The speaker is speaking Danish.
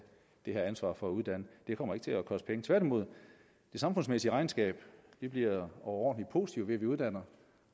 det her ansvar for at uddanne det kommer ikke til at koste penge tværtimod det samfundsmæssige regnskab bliver overordentlig positivt ved at vi uddanner